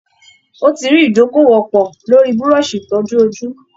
Ó ti rí ìdókòwò pọ̀ lórí búrọ́ọ̀ṣì ìtọ́jú ojú